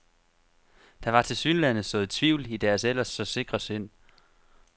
Der var tilsyneladende sået tvivl i deres ellers så sikre sind.